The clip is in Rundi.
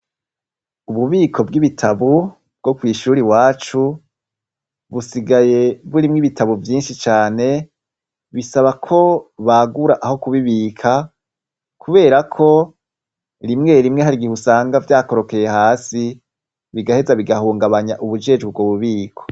Ububiko bw'ibitabu bwo kw'ishura wacu busigaye burimwo ibitabu vyinshi cane bisaba ko bagura aho kubibika, kubera ko rimwe rimwe harigiheusanga vyakorokeye hasi bigaheza bigahungabanya ubujejwe bwo bubiko.